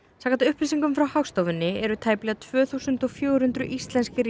samkvæmt upplýsingum frá Hagstofunni eru tæplega tvö þúsund og fjögur hundruð íslenskir